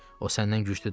O səndən güclüdür.